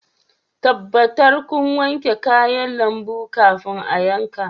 Tabbatar kun wanke kayan lambu kafin a yanka.